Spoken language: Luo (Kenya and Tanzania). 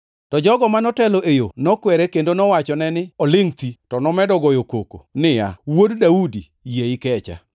To jogo ma notelo e yo nokwere kendo nowachone ni olingʼ thi, to nomedo goyo koko niya, “Wuod Daudi, yie ikecha!”